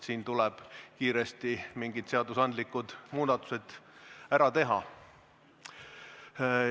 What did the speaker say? Siin tuleb kiiresti mingid seadusandlikud muudatused ära teha.